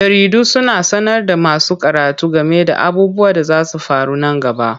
Jaridu suna sanar da masu karatu game da abubuwan da zasu faru nan gaba.